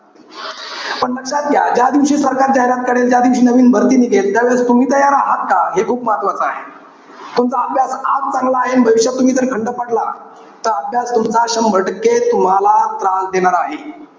पण लक्षात घ्या ज्यादिवशी सरकार जाहिरात करेल, त्यादिवशी नवीन भरती निघेल, त्यावेळेस तुम्ही तयार आहेत का? हे खूप महत्वाचं आहे. तुमचा अभ्यास आज चांगला आहे. अन भविष्यात जर तुम्ही खंड पडला, तर अभ्यास तुमचा, शंभर टक्के तुम्हाला त्रास देणार आहे.